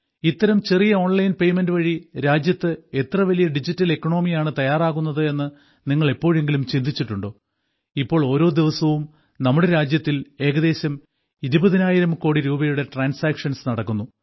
ഇത്തരം ചെറിയ online payment വഴി രാജ്യത്ത് എത്ര വലിയ ഡിജിറ്റൽ ഇക്കോണമിയാണ് തയ്യാറാകുന്നത് എന്നു നിങ്ങൾ എപ്പോഴെങ്കിലും ചിന്തിച്ചിട്ടുണ്ടോ ഇപ്പോൾ ഓരോ ദിവസവും നമ്മുടെ രാജ്യത്തിൽ ഏകദേശം ഇരുപതിനായിരം കോടി രൂപയുടെ ട്രാൻസാക്ഷൻസ് നടക്കുന്നു